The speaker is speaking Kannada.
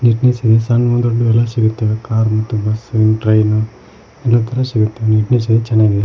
ಇಲ್ಲಿ ಸಣ್ ಸಣ್ ದೊಡ್ಡೊವೆಲ್ಲಾ ಸಿಗುತ್ತೆ ಕಾರ್ ಮತ್ತು ಬಸ್ಸು ಟ್ರೈನು ಎಲ್ಲ ತರ ಸಿಗುತ್ತೆ ನೀಟ್ನೆಸ್ಸು ಚೆನ್ನಾಗಿದೆ.